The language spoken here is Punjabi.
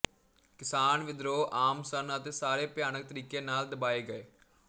ਕਿਸਾਨ ਵਿਦਰੋਹ ਆਮ ਸਨ ਅਤੇ ਸਾਰੇ ਭਿਆਨਕ ਤਰੀਕੇ ਨਾਲ ਦਬਾਏ ਗਏ